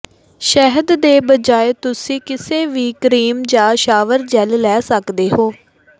ਸ਼ਹਿਦ ਦੇ ਬਜਾਏ ਤੁਸੀਂ ਕਿਸੇ ਵੀ ਕ੍ਰੀਮ ਜਾਂ ਸ਼ਾਵਰ ਜੈੱਲ ਲੈ ਸਕਦੇ ਹੋ